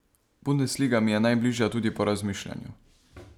Bundesliga mi je najbližja tudi po razmišljanju.